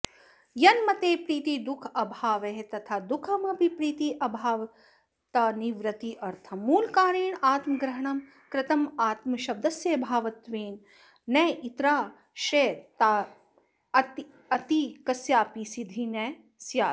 यन्मते प्रीतिर्दुःखाभावः तथा दुःखमपि प्रीत्यभावस्तन्निवृत्त्यर्थं मूलकारेणात्मग्रहणं कृतमात्मशब्दस्य भावतत्त्वेन नेतरेतराश्रयस्तथासत्येकस्यापि सिद्धिर्न स्यात्